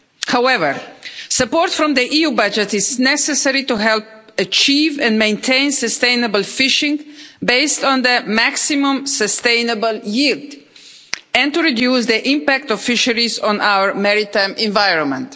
However, support from the EU budget is necessary to help achieve and maintain sustainable fishing, based on the maximum sustainable yield and to reduce the impact of fisheries on our maritime environment.